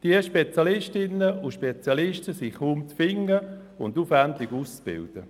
Die Spezialistinnen und Spezialisten sind jedoch kaum zu finden und aufwendig auszubilden.